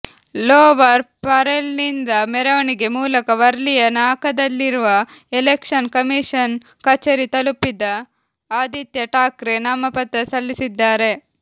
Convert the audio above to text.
lower ಪರೇಲ್ನಿಂದ ಮರೆವಣಿಗೆ ಮೂಲಕ ವರ್ಲಿಯ ನಾಕದಲ್ಲಿರುವ ಎಲೆಕ್ಷನ್ ಕಮಿಶನ್ ಕಚೇರಿ ತಲುಪಿದ ಆದಿತ್ಯ ಠಾಕ್ರೆ ನಾಮಪತ್ರ ಸಲ್ಲಿಸಿದ್ದಾರೆ